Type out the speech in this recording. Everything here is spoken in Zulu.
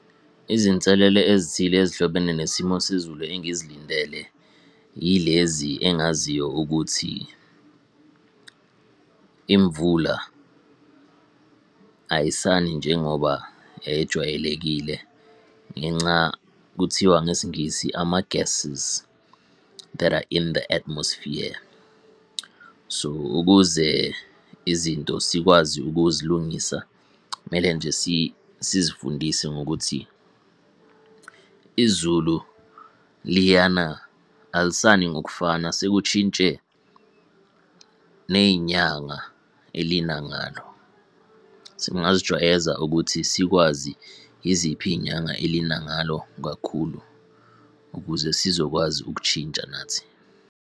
Izinselele ezithile ezihlobene nesimo sezulu engizilindele yilezi engaziyo ukuthi. Imvula ayisani njengoba yayijwayelekile, ngenca kuthiwa ngesiNgisi, ama-gases that are in the atmosphere. So, ukuze izinto sikwazi ukuzilungisa, kumele nje sizifundise ngokuthi, izulu liyana alisani ngokufana sekushintshe ney'nyanga elina ngalo. Singazijwayeza ukuthi sikwazi yiziphi iy'nyanga elina ngalo kakhulu ukuze sizokwazi ukushintsha nathi.